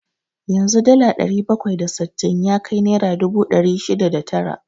Yanzu dala ɗari bakwai da sittin ya kai naira dubu ɗari shida da tara.